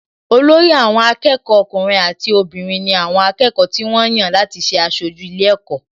Olórí àwọn akẹ́kọ̀ọ́ ọkùnrin àti obìnrin ni àwọn akẹ́kọ̀ọ́ tí wọ́n yàn láti ṣe aṣojú ilé ẹ̀kọ́